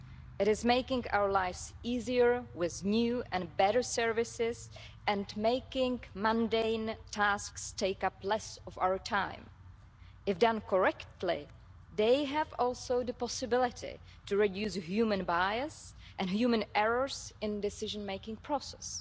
It is making our lives easier with new and better services, and making mundane tasks take up less of our time. If done correctly, they also have the possibility to reduce human bias and human errors in the decision-making process.